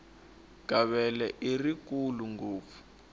gavele i rikulu ngopfu